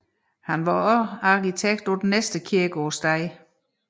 Han var også arkitekt på den næste kirke på stedet